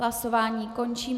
Hlasování končím.